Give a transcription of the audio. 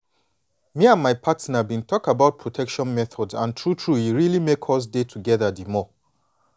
me and my partner been talk about protection methods and true true e really make us dey together the more